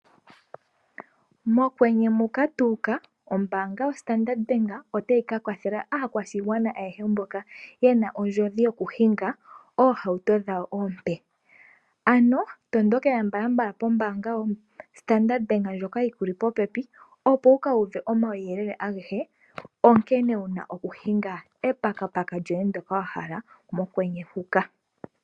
Mokwenye muka tuuka, ombaanga yoStandard Bank otayi kakwathela aakwashigwana ayehe mboka yena ondjodhi yokuhinga oohauto dhawo oompe. Ano tondokela mbalambala pombaanga yoStandard Bank ndjoka yi kuli popepi opo wukuuve omauyelele agehe onkene wuna okuhinga etukutuku lyoye ndoka wa hala mokwenye muka.